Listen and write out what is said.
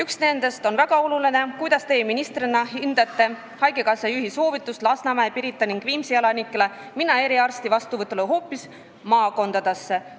Esimene nendest on väga oluline: "Kuidas Teie ministrina hindate haigekassa juhi soovitust Lasnamäe, Pirita ning Viimsi elanikele minna eriarsti vastuvõtule hoopis maakondadesse?